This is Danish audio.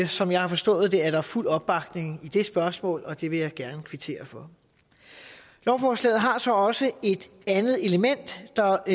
som jeg har forstået det er der fuld opbakning i det spørgsmål og det vil jeg gerne kvittere for lovforslaget har så også et andet element der